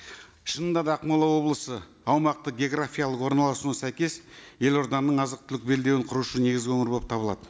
шынында да ақмола облысы аумақтық географиялық орналасуына сәйкес елорданың азық түлік белдеуін құрушы негізгі өңір болып табылады